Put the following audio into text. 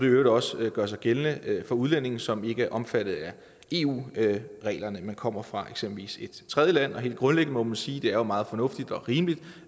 i øvrigt også gør sig gældende for udlændinge som ikke er omfattet af eu reglerne men eksempelvis kommer fra et tredje land helt grundlæggende må man sige det er meget fornuftigt og rimeligt